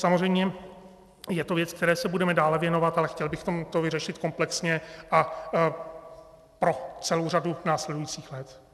Samozřejmě je to věc, které se budeme dále věnovat, ale chtěli bychom to vyřešit komplexně a pro celou řadu následujících let.